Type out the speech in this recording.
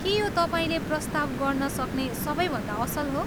के यो तपाईँले प्रस्ताव गर्नसक्ने सबैभन्दा असल हो?